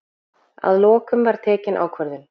Að lokum var tekin ákvörðun.